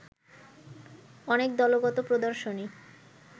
অনেক দলগত প্রদর্শনী